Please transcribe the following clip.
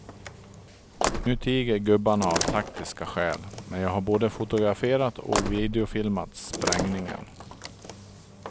Nu tiger gubbarna av taktiska skäl, men jag har både fotograferat och videofilmat sprängningen.